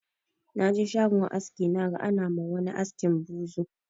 Na je shagon aski naga ana ma wani askin buzur